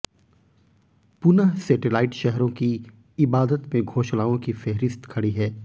पुनः सेटेलाइट शहरों की इबादत में घोषणाओं की फेहरिस्त खड़ी है